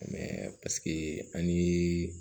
paseke an ye